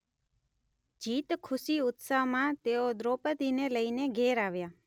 જીત ખુશી ઉત્સાહમાં તેઓ દ્રૌપદીને લઈને ઘેર આવ્યાં.